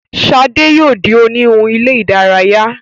Shade yóò dì oniwun ilé-idaraya.